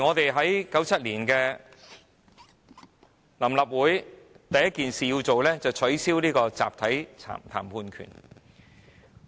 1997年，臨時立法會第一件做的事情，就是取消集體談判權。